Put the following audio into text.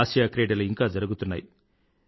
ఆసియాక్రీడలు ఇంకా జరుగుతున్నాయి